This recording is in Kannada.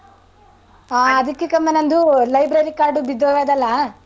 ಹಾ ಅದಿಕ್ಕೆ ಕ್ಕಮ ನಂದೂ library card ಉ ಬಿದ್ದೋಗದಲ್ಲಾ.